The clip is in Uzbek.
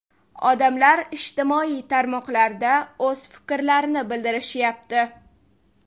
Odamlar ijtimoiy tarmoqlarda o‘z fikrlarini bildirishyapti.